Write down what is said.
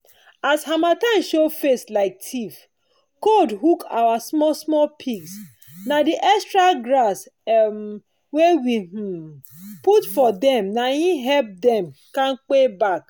as harmattan show face like thief cold hook our small small pigs—na the extra grass um wey we um put for them naim help dem kanpe back.